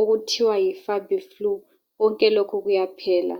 okuthiwa yi Fabiflue konke lokhu kuyaphela